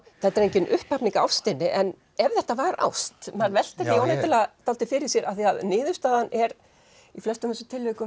þetta er engin upphafning á ástinni en ef þetta var ást maður veltir því óneitanlega dálítið fyrir sér af því að niðurstaðan er í flestum þessum tilvikum